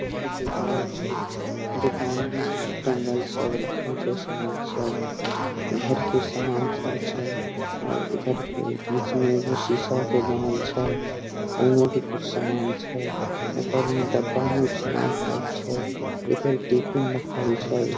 इधर दुकान छै दुकान में सिस्टम बाइज सब रखल छै सामान सब इधर भी सामान सब छै और इधर बीच मे भी सीसा के बनल छै ओय मे भी कुछ समान छै ऊपर मे डब्बा मे सामान पैक छै इधर टिफिन रखल छै।